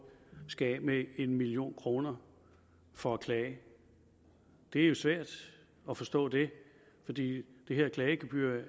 skal af med en million kroner for at klage det er svært at forstå det fordi det her klagegebyr jo